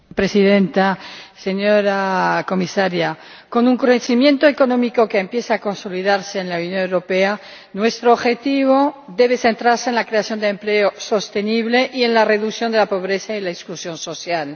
Señora Presidenta, señora Comisaria, con un crecimiento económico que empieza a consolidarse en la Unión Europea, nuestro objetivo debe centrarse en la creación de empleo sostenible y en la reducción de la pobreza y la exclusión social.